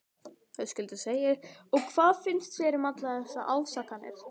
Höskuldur: Og hvað finnst þér um allar þessar ásakanir?